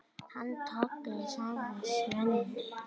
Hann Tolli, sagði Svenni.